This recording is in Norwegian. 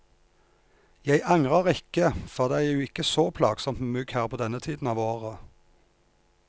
Jeg angrer ikke, for det er jo ikke så plagsomt med mygg her på denne tiden av året.